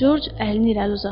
George əlini irəli uzatdı.